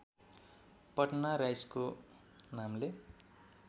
पटना राइसको नामले